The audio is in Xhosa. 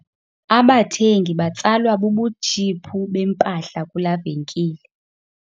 Abathengi batsalwa bubutshiphu bempahla kulaa venkile.